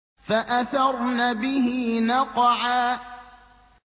فَأَثَرْنَ بِهِ نَقْعًا